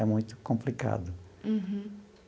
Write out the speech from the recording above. É muito complicado.